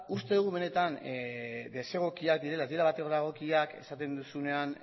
uste dugu ez direla batere egokiak esaten duzunean